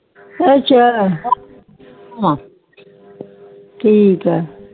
ਅੱਛਾ ਠ੍ਕ ਆ